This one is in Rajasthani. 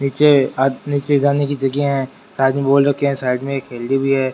नीचे आदमी नीचे जाने की जगह है --